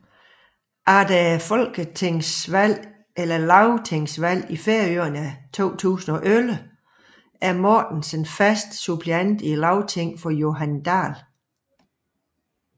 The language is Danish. Efter lagtingsvalget i Færøerne 2011 er Mortensen fast suppleant i Lagtinget for Johan Dahl